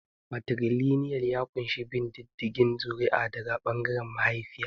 Matrilinial ya ƙunshi bin diddigin zuri'a daga ɓangaren mahaifiya.